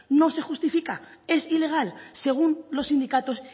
no se justifica es ilegal según los sindicatos